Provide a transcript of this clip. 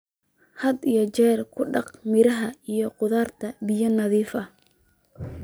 Had iyo jeer ku dhaq miraha iyo khudaarta biyo nadiif ah.